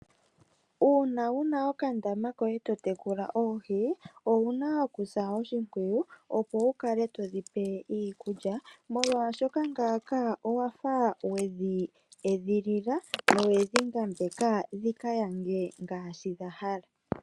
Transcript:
Uuna wuna okandama koye totekula oohi, owuna okusa oshipwiyu, opo wu kale to dhipe iikulya, molwaashoka ngaaka owafa we dhi edhilila na owedhi ngambeka dhika yange , ngaashi dha hala.